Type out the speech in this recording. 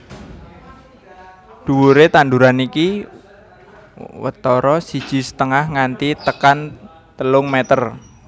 Dhuwuré tanduran iki watara siji setengah nganti tekan telung meter